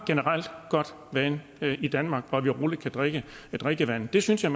godt vand i danmark og at vi roligt kan drikke drikkevandet det synes jeg